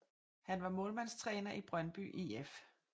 Han var målmandstræner i Brøndby IF